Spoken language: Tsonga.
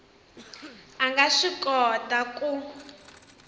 a nga swi kota ku